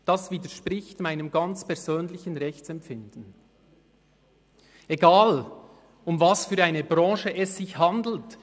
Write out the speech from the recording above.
Das widerspricht meinem ganz persönlichen Rechtsempfinden, egal, um welche Branche es sich handelt;